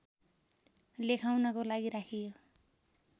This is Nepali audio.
लेखाउनको लागि राखियो